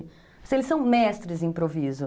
Eles são mestres em improviso.